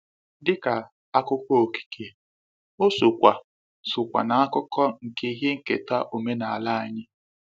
Dị ka akụkọ okike, o sokwa sokwa na akụkọ nke ihe nketa omenala anyị.